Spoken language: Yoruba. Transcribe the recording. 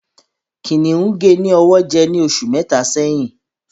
Kìnìún gé ní ọwọ jẹ ní oṣù mẹta sẹ́yín